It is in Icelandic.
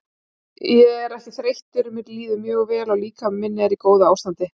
Ég er ekki þreyttur mér líður mjög vel og líkami minn er í góðu ástandi.